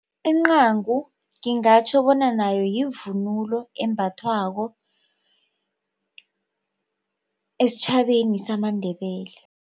Incagu ngingatjho bona nayo yivunulo embathwako esitjhabeni samaNdebele.